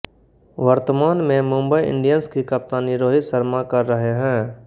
वर्तमान में मुंबई इंडियंस की कप्तानी रोहित शर्मा कर रहे हैं